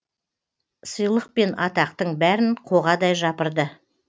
сыйлық пен атақтың бәрін қоғадай жапырды